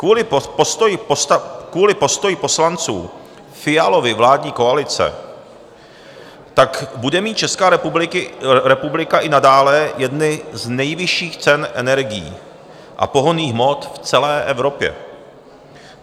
Kvůli postoji poslanců Fialovy vládní koalice tak bude mít Česká republika i nadále jedny z nejvyšších cen energií a pohonných hmot v celé Evropě.